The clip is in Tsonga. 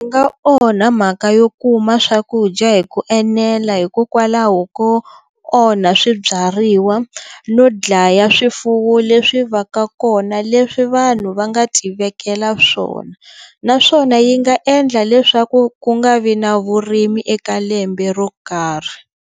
Swi onha mhaka yo kuma swakudya hi ku enela hikokwalaho ko onha swibyariwa no dlaya swifuwo leswi va ka kona leswi vanhu va nga tivekela swona naswona yi nga endla leswaku ku nga vi na vurimi eka lembe ro karhi.